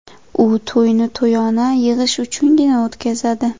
U to‘yni to‘yona yig‘ish uchungina o‘tkazadi.